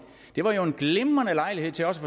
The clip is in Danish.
det var jo en glimrende lejlighed til også